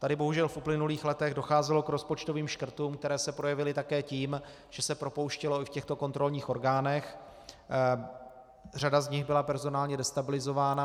Tady bohužel v uplynulých letech docházelo k rozpočtovým škrtům, které se projevily také tím, že se propouštělo i v těchto kontrolních orgánech, řada z nich byla personálně destabilizována.